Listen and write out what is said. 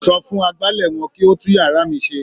Sọ fún agbálẹ̀ wọn kí ó tún yàrá mi ṣe.